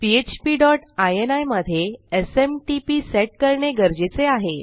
PHP dot ini मधे SMTP set करणे गरजेचे आहे